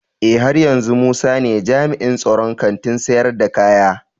Eh, haryanzu musa ne jami'in tsaron Kantin sayar da kaya.